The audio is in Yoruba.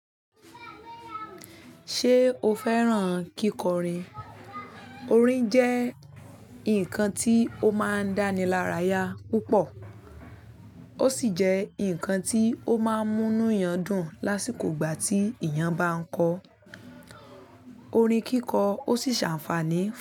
Ṣé o fẹ́ràn kíkọrin? Orin jẹ́ nǹkan tí ó máa ń dánilaraya púpọ̀, ó sì jẹ́ nǹkan tí ó máa ń múnuyan dùn lásìkò ìgbà tí èèyàn bá ń kọ orin kíkọ, ó sì ṣàǹfàní fun.